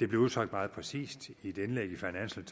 det blev udtrykt meget præcist i et indlæg i financial